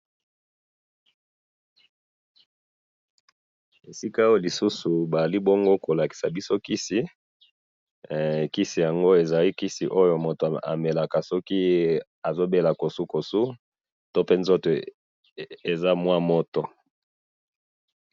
esika oyo lisusu bazali bongo kolakisa biso kisi kisi yango bamelaka soki mutu aza na kosukosu pe soki nzoto eza na mwa moto.